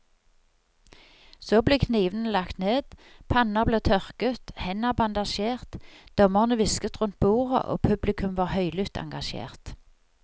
Så ble knivene lagt ned, panner ble tørket, hender bandasjert, dommerne hvisket rundt bordet og publikum var høylytt engasjert.